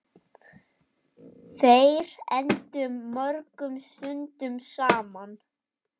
Þær eyddu mörgum stundum saman.